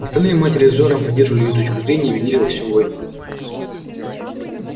остальные матери с жаром поддерживали её точку зрения и винили во всем войну